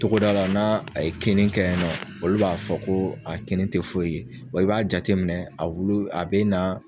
Togoda la n'a a ye kinni kɛ yen nɔ, olu b'a fɔ ko a kinni tɛ foyi ye, i b'a jate minɛ, a wulu, a bɛ na